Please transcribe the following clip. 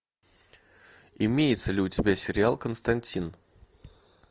имеется ли у тебя сериал константин